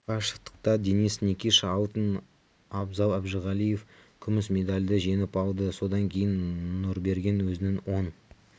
қашықтықта денис никиша алтын абзал әжіғалиев күміс медальды жеңіп алды содан кейін нұрберген өзінің оң